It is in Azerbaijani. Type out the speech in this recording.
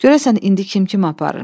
Görəsən indi kim kimi aparır?